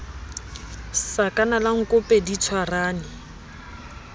sakana la nkope di tshwarane